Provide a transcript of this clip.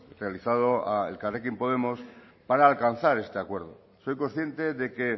realizado a elkarrekin podemos para alcanzar este acuerdo soy consciente de que